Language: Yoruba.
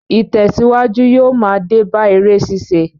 Ìtèsíwájú yóò ma dé bá eré ṣíṣe